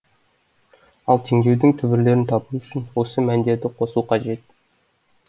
ал теңдеудің түбірлерін табу үшін осы мәндерді қосу қажет